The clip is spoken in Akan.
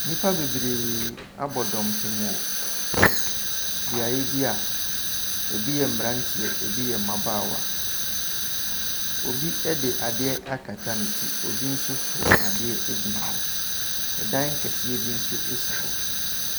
Nnipa bebreeee abɔ dɔmpem wɔ beaeɛ bi a ɛbi yɛ mmeranteɛ, ɛbi yɛ mmabaawa. Obi de adeɛ akata ne ti, obi nso so adeɛ gyina hɔ. Ɛdan kɛseɛ bi nso si hɔ.